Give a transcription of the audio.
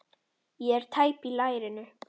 Ég er tæp í lærinu.